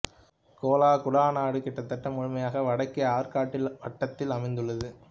Cola குடாநாடு கிட்டத்தட்ட முழுமையாக வடக்கே ஆர்க்டிக் வட்டத்தில் அமைந்துள்ளது